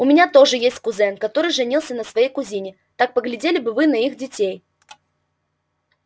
у меня тоже есть кузен который женился на своей кузине так поглядели бы вы на их детей